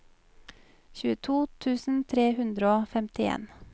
tjueto tusen tre hundre og femtien